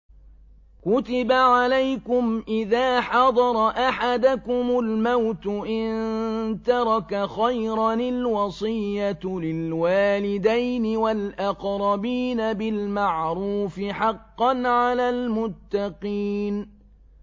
كُتِبَ عَلَيْكُمْ إِذَا حَضَرَ أَحَدَكُمُ الْمَوْتُ إِن تَرَكَ خَيْرًا الْوَصِيَّةُ لِلْوَالِدَيْنِ وَالْأَقْرَبِينَ بِالْمَعْرُوفِ ۖ حَقًّا عَلَى الْمُتَّقِينَ